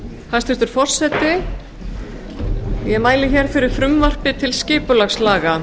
hæstvirtur forseti ég mæli hér fyrir frumvarpi til skipulagslaga